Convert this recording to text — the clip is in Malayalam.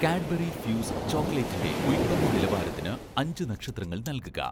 കാഡ്ബറി ഫ്യൂസ്' ചോക്ലേറ്റിൻ്റെ ഉൽപ്പന്ന നിലവാരത്തിന് അഞ്ച് നക്ഷത്രങ്ങൾ നൽകുക